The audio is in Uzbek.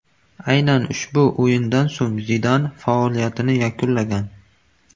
Aynan ushbu o‘yindan so‘ng Zidan faoliyatini yakunlagan.